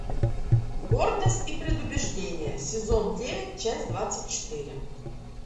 гордость и предубеждение сезон девять часть двадцать четыре